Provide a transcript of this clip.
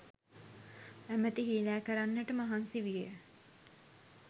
ඇමැති හීලෑ කරගන්නට මහන්සි විය